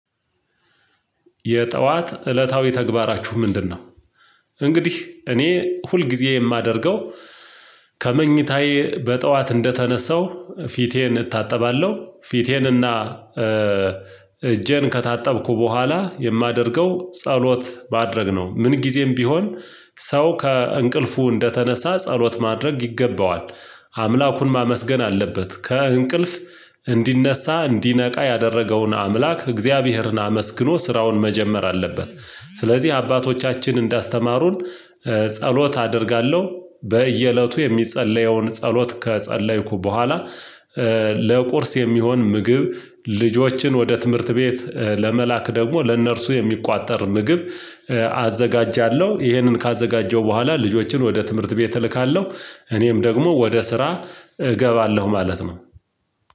የጠዋት እለታዊ ተግባራችሁ ምንድነው? እንግዲህ እኔ ሁልጊዜ የማደርገው ከመኝታዬ በጥኋት እንደተነሳሁ ፊቴን እታጠባለሁ ፊቴንና እጄን ከታጠብኩ በኋላ የማደርገው ጸሎት ባደረግነው ምን ጊዜም ቢሆን ሰው ከእንቅልፉ እንደተነሳ ጸሎት ማድረግ ይገባዋል አምላኩን ማመስገን አለበት ከእንቅልፍ እንዲነሳ እንዲነቃ ያደረገውን አምላክ እግዚአብሔርን አመስግኖ ስራውን መጀመር አለበት። ስለዚህ አባቶቻችን እንዳስተማሩን ጸሎት አደርጋለሁ በየእለቱ የሚጸለየውን ጸሎት ከጸለይኩ በኋላ የሚሆን ምግብ ልጆችን ወደ ትምህርት ቤት ለመላክ ደግሞ ለእነርሱ የሚቆጠር ምግብ አዘጋጃለሁ። ይሄንን ካዘጋጀው በኋላ ልጆችን ወደ ትምህርት ቤት እልካለሁ እኔም ደግሞ ወደ ስራ እገባለሁ ማለት ነው።